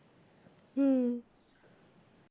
হুম।